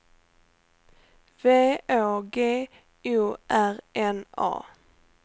V Å G O R N A